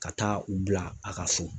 Ka taa u bila a ka so.